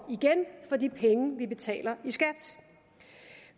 for de penge vi betaler i skat